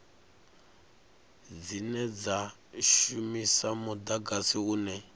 dzine dza shumisa mudagasi une